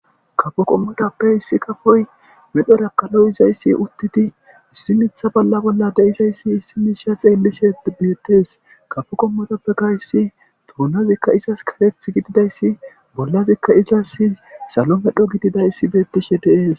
kapo qommodappe issi kafoy medhorakkaloy izayssi uttiti issi mitha bolla bolla deizayssi issi misha xeellishe beettes kafo qommodappe gayssi toonazikka izas kareth gididayssi bollazikka izas salo medho gididayssi beettishe deees